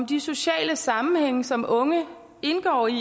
de sociale sammenhænge som unge indgår i